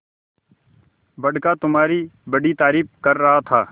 बड़का तुम्हारी बड़ी तारीफ कर रहा था